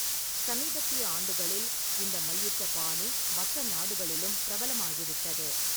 சமீபத்திய ஆண்டுகளில் இந்த மல்யுத்த பாணி மற்ற நாடுகளிலும் பிரபலமாகிவிட்டது.